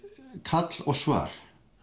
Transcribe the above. kall og svar